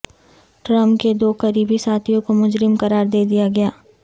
Trump کے دو قریبی ساتھیوں کو مجرم قرار دے دیا گیا